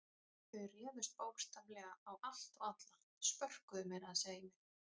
Þau réðust bókstaflega á allt og alla, spörkuðu meira að segja í mig.